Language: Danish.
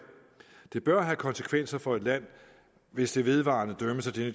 det bør have konsekvenser for et land hvis det vedvarende dømmes af det